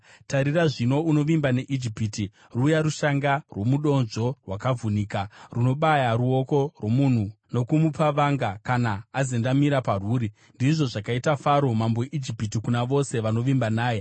Tarira zvino, unovimba neIjipiti, ruya rushanga rwomudonzvo rwakavhunika, runobaya ruoko rwomunhu nokumupa vanga kana azendamira parwuri! Ndizvo zvakaita Faro mambo weIjipiti kuna vose vanovimba naye.